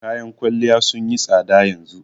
Kayan kwalliya sun yi tsada yanzu